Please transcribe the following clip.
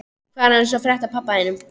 Hvað er annars að frétta af pabba þínum?